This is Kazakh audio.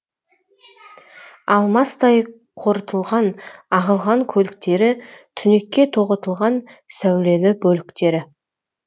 алмастай қорытылған ағылған көліктері түнекке тоғытылған сәулелі бөліктері